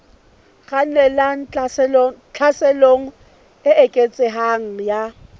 kgannelang tlhaselong e eketsehang ya